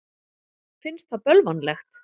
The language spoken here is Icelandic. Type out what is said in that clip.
Finnst það bölvanlegt.